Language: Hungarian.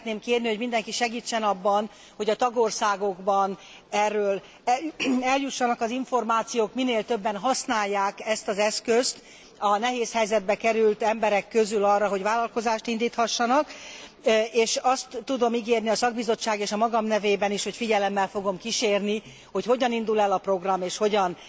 Azt szeretném kérni, hogy mindenki segítsen abban, hogy a tagországokba erről eljussanak az információk, minél többen használják ezt az eszközt a nehéz helyzetbe került emberek közül arra, hogy vállalkozást indíthassanak, és azt tudom ígérni a szakbizottság és a magam nevében is, hogy figyelemmel fogom kísérni, hogy hogyan indul el a program, és hogyan